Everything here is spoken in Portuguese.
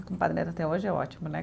O compadre dele até hoje é ótimo, né?